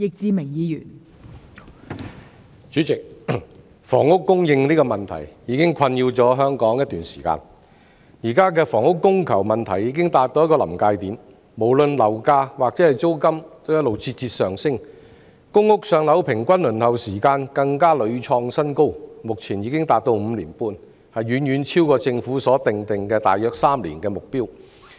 代理主席，房屋供應的問題已經困擾香港一段時間，現時房屋供求問題已達到臨界點，無論樓價或租金也節節上升，公屋"上樓"平均輪候時間更屢創新高，目前已經達到5年半，遠遠超過政府所訂定的大約3年的目標。